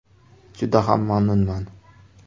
Juda ham mamnunman.